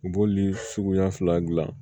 U b'oli suguya fila dilan